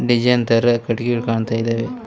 Design ತರ ಕಟ್ಟಿಗೆಗಳು ಕಾಣ್ತಾ ಇದಾವೆ.